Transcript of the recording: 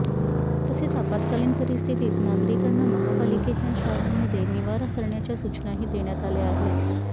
तसेच आपत्कालीन परिस्थितीत नागरिकांना महापालिकेच्या शाळांमध्ये निवारा करण्याच्या सूचनाही देण्यात आल्या आहेत